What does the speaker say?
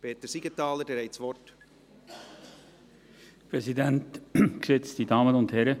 Peter Siegenthaler, Sie haben das Wort.